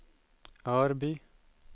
Örby